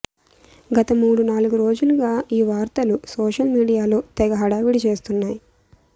గత మూడు నాలుగు రోజులుగా ఈ వార్తలు సోషల్ మీడియాలో తెగ హడావుడి చేస్తున్నాయి